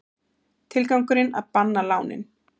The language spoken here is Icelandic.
Tilgangurinn að banna lánin